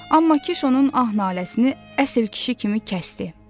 Amma Kiş onun ah-naləsini əsil kişi kimi kəsdi.